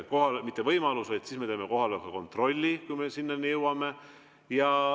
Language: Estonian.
Siis me teeme kohaloleku kontrolli, kui me selleni jõuame.